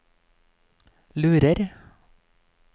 lurer